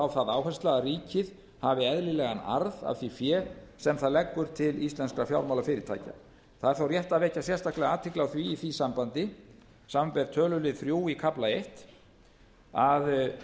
á það áhersla að ríkið hafi eðlilegan arð af því fé sem það leggur til íslenskra fjármálafyrirtækja það er þó rétt að vekja sérstaklega athygli á því í því sambandi samanber tölulið þrjú í kafla eins að